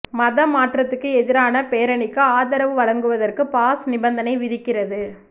மதம் மாற்றத்துக்கு எதிரான பேரணிக்கு ஆதரவு வழங்குவதற்கு பாஸ் நிபந்தனை விதிக்கிறது